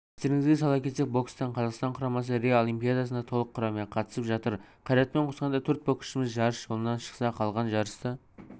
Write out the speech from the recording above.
естеріңізге сала кетсек бокстан қазақстан құрамасы рио олимпиадасына толық құраммен қатысып жатыр қайратпен қосқанда төрт боксшымыз жарыс жолынан шықса қалған жарысты